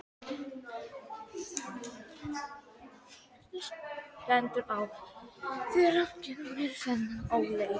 Hvernig stendur á þér að gera mér þennan óleik?